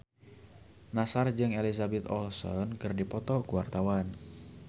Nassar jeung Elizabeth Olsen keur dipoto ku wartawan